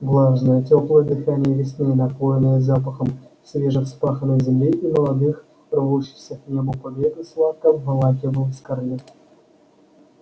влажное тёплое дыхание весны напоенное запахом свежевспаханной земли и молодых рвущихся к небу побегов сладко обволакивало скарлетт